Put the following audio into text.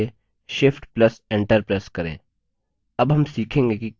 column में पिछले cell पर जाने के लिए shift + enter प्रेस करें